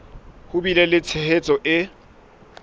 ho bile le tshehetso e